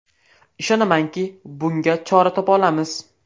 Ishonamanki, bunga chora topa olamiz.